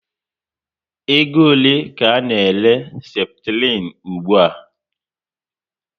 Ego ole ka a n'ere Seputirin ugbua?